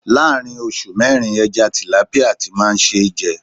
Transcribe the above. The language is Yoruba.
Láàárín oṣù mẹ́rin, ẹja Tìlápíà ti máa ṣe ń jẹ.